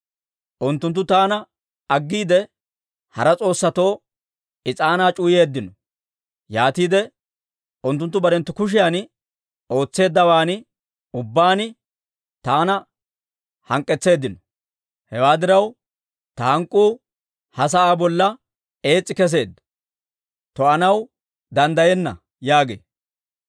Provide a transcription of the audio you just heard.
Unttunttu taana aggiide, hara s'oossatoo is'aanaa c'uwayeeddino; yaatiide unttunttu barenttu kushiyan ootseeddawaan ubbaan taana hank'k'etseeddino. Hewaa diraw, ta hank'k'uu ha sa'aa bolla ees's'i kesseedda; to'anaw danddayenna› yaagee.